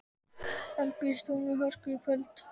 En býst hún við hörku í kvöld?